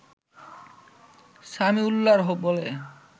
সামিউল্লাহর বলে